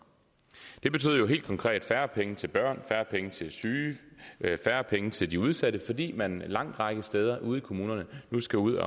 det betød jo helt konkret færre penge til børn færre penge til syge færre penge til de udsatte fordi man en lang række steder ude i kommunerne nu skal ud